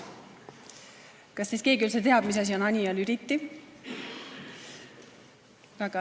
Kas teist keegi üldse teab, mis asi on Anija Lüliti?